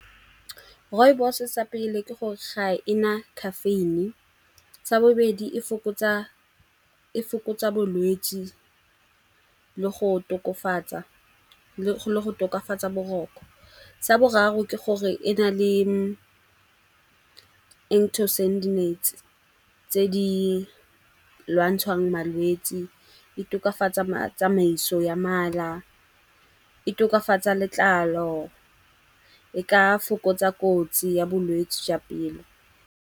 Rooibos sa pele ke gore ga e na caffeine-e, sa bobedi e fokotsa bolwetsi le go le go tokafatsa boroko. Sa boraro ke gore e na le tse di lwantshwang malwetsi, e tokafatsa tsamaiso ya mala, e tokafatsa letlalo, e ka fokotsa kotsi ya bolwetsi jwa pelo.